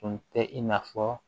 Tun tɛ i n'a fɔ